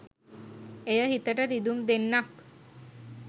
එය හිතට රිදුම් දෙන්නක්